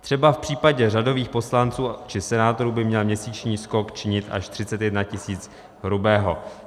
Třeba v případě řadových poslanců či senátorů by měl měsíční skok činit až 31 tisíc hrubého.